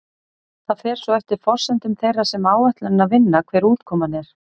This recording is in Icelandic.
Það fer svo eftir forsendum þeirra sem áætlunina vinna hver útkoman er.